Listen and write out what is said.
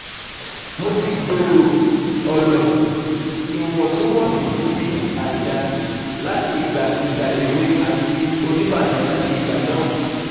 Mo ti gbooro Ọlọ (iwọntunwọnsi si àìdá) lati igba igba ewe ati onibaje lati igba naa